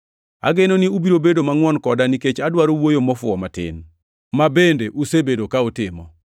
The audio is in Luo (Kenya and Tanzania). Ageno ni ubiro bedo mangʼwon koda nikech adwaro wuoyo mofuwo matin, ma bende usebedo ka utimo.